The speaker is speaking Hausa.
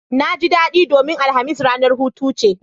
Naji daɗi domin alhamis ranar hutu ce